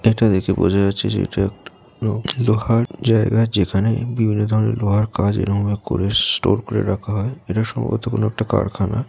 এটা দেখে বোঝা যাচ্ছে সেটা এক লো লোহার জায়গা যেখানে বিভিন্ন ধরনের লোহার কাজ ।এরকম ভাবে করে ষ্টোর করে রাখা হয়। এটা সম্ভবত একটা কারখানা।